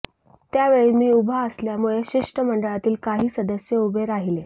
त्यावेळी मी उभा असल्यामुळे शिष्टमंडळातील काही सदस्य उभे राहीले